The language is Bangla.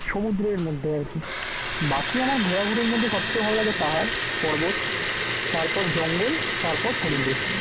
সমুদ্রের মধ্যে আর কি বাকি আমার ঘোরাঘুরির মধ্যে সবচাইতে ভালো লাগে পাহাড় পর্বত তারপর জঙ্গল তারপর সমুদ্র